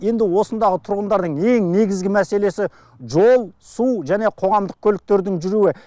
енді осындағы тұрғындардың ең негізгі мәселесі жол су және қоғамдық көліктердің жүруі